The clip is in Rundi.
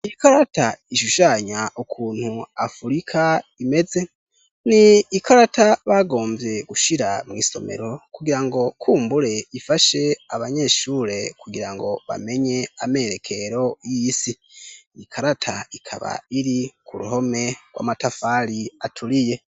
Ikarata ishushanya ukuntu afurika imeze ni ikarata bagomvye gushira mw'isomero kugira ngo kumbure ifashe abanyeshure kugira ngo bamenye amerekero y'isi ikarata ikaba iri ku ruhome rw'amatafali aturiye.